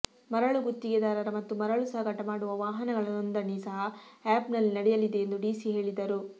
ಮರಳು ಗುತ್ತಿಗೆದಾರರ ಮತ್ತು ಮರಳು ಸಾಗಾಟ ಮಾಡುವ ವಾಹನಗಳ ನೊಂದಣಿ ಸಹ ಆ್ಯಪ್ ನಲ್ಲಿ ನಡೆಯಲಿದೆ ಎಂದು ಡಿಸಿ ಹೇಳಿದರು